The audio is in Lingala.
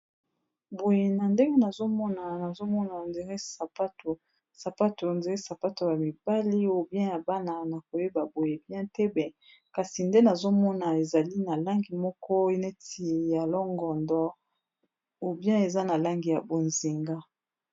Boye na ndenge nazomona sapato on dire sapato ya mibali ou bien ya bana na koyeba boye bien te kasi nde nazomona ezali na langi moko neti ya longodo ou bien eza na langi ya bozinga.